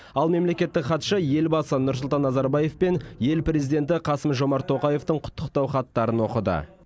ал мемлекеттік хатшы елбасы нұрсұлтан назарбаев пен ел президенті қасым жомарт тоқаевтың құттықтау хаттарын оқыды